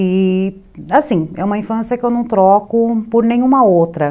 E, assim, é uma infância que eu não troco por nenhuma outra.